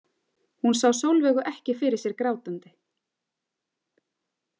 Hún sá Sólveigu ekki fyrir sér grátandi.